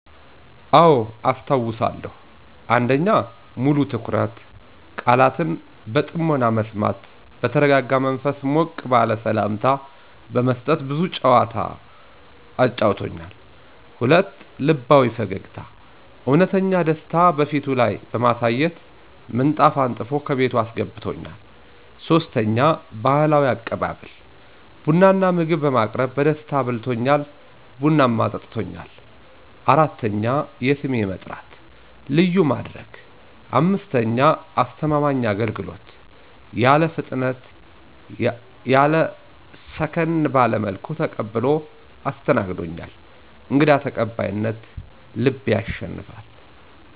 **አዎ፣ አስታውሳለሁ!** 1. **ሙሉ ትኩረት** - ቃላትን በጥሞና መስማት በተረጋጋ መንፈስ ሞቅ ባለ ሠላምታ በመስጠት ብዙ ጨዋታ አጫውቶኛል። 2. **ልባዊ ፈገግታ** - እውነተኛ ደስታ በፊቱ ላይ በማሳየት ምንጣፍ አንጥፎ ከቤቱ አስገብቶኛል። 3. **ባህላዊ አቀባበል** - ቡና እና ምግብ በማቅረብ በደስታ አብልቶኛል፣ ቡናም አጠጥቶኛል። 4. **የስሜ መጥራት** - ልዩ ማድረግ 5. **አስተማማኝ አገልግሎት** - ያለ ፍጥነት ያለ ሰከን ባለ መልኩ ተቀብሎ አስተናግዶኛል። > _"እንግዳ ተቀባይነት ልብ ያሸንፋል!"_